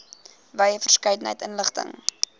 wye verskeidenheid inligting